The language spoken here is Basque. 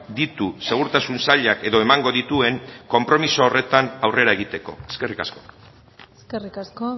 ditu segurtasun sailak edo emango dituen konpromiso horretan aurrera egiteko eskerrik asko eskerrik asko